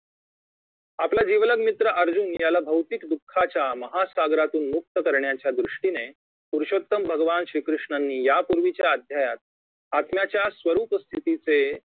आपला जिवलग मित्र अर्जुन याला भौतिक दुःखाच्या महासागरातून मुक्त करण्याच्या दृष्टीने पुरुषोत्तम भगवान श्री कृष्णांनी या पूर्वीच्या अध्यायात आत्म्याच्या स्वरुप स्थितीचे